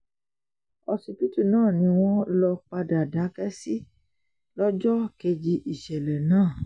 ọsibítù náà ni wọ́n lọ padà dákẹ́ sí lọ́jọ́ kejì ìṣẹ̀lẹ̀ náà